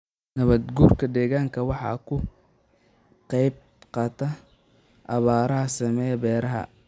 Nabaad-guurka deegaanku waxa uu ka qayb qaataa abaaraha saameeya beeraha.